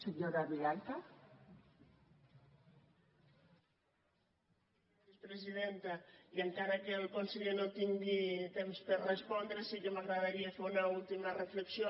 gràcies presidenta i encara que el conseller no tingui temps per respondre sí que m’agradaria fer una última reflexió